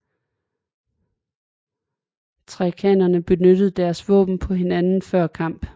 Thrakerne benyttede deres våben på hinanden før kamp